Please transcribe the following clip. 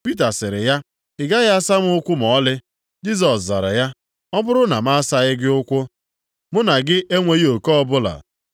Pita sịrị ya, “Ị gaghị asaa m ụkwụ ma ọlị.” Jisọs zara ya, “Ọ bụrụ na m asachaghị gị ụkwụ, mụ na gị enweghị oke ọbụla.”